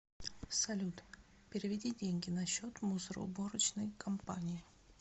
салют переведи деньги на счет мусороуборочной компании